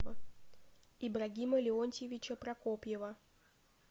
ибрагима леонтьевича прокопьева